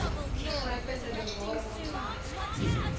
ingrypende bewaring ontwerp